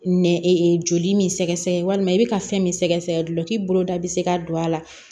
Nɛn joli min sɛgɛsɛgɛ walima i bɛ ka fɛn min sɛgɛsɛgɛ dulɔki bolo da bɛ se ka don a la